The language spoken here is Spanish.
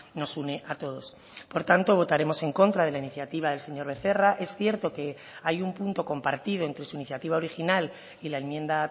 nos une a todos por tanto votaremos en contra de la iniciativa del señor becerra es cierto que hay un punto compartido entre su iniciativa original y la enmienda